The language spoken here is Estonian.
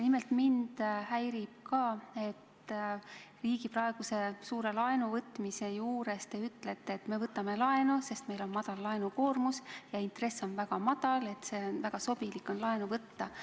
Nimelt häirib mind ka, et riigi praeguse suure laenuvõtmise juures te ütlete, et me võtame laenu, sest meil on madal laenukoormus ja intress on väga madal, et väga sobilik on laenu võtta.